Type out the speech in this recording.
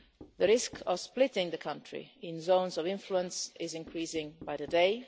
The risk of splitting the country into zones of influence is increasing by the day.